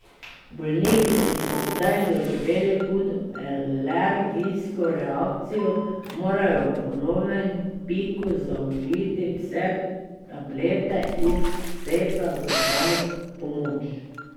Bolniki, ki so kdaj doživeli hudo alergijsko reakcijo, morajo ob ponovnem piku zaužiti vse tablete iz seta za samopomoč.